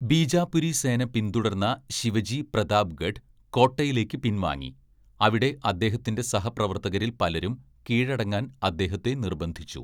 ബീജാപുരി സേന പിന്തുടർന്ന ശിവജി പ്രതാപ്ഗഡ് കോട്ടയിലേക്ക് പിൻവാങ്ങി, അവിടെ അദ്ദേഹത്തിന്റെ സഹപ്രവർത്തകരിൽ പലരും കീഴടങ്ങാൻ അദ്ദേഹത്തെ നിർബന്ധിച്ചു.